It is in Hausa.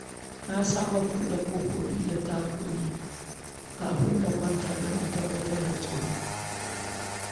Na saba kulle ƙofofi da tagogi kafin in kwanta don tabbatar da tsaro.